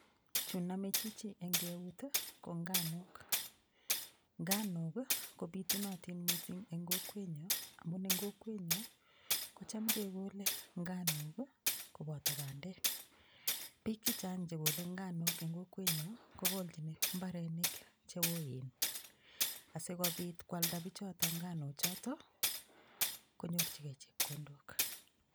Chu nomei chichi eng' keut ko nganok nganok kopitunotin mising' eng' kokwenyo amun eng' kokwenyo kocham kekole nganok koboto bandek biik chichang' chekolei nganok eng' kokwenyo kokolei mbarenik cheoen asikobit kwalda bichoto nganochoto konyorchigei chepkondok